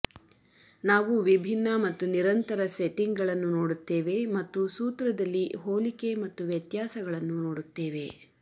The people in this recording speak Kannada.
ನಾವು ವಿಭಿನ್ನ ಮತ್ತು ನಿರಂತರ ಸೆಟ್ಟಿಂಗ್ಗಳನ್ನು ನೋಡುತ್ತೇವೆ ಮತ್ತು ಸೂತ್ರದಲ್ಲಿ ಹೋಲಿಕೆ ಮತ್ತು ವ್ಯತ್ಯಾಸಗಳನ್ನು ನೋಡುತ್ತೇವೆ